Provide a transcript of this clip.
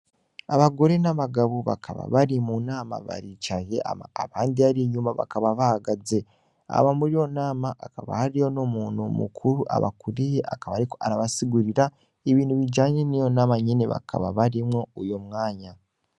Abagore nabagabo bakaba bari mu nama baricaye abandi bakaba bahagaze hama muriyo nama hakaba hariyo numuntu mukuru abakuriye akaba ariko arabasigurira ibintu bijanye niyo nama nyene bakaba barimwo uyo mwanya .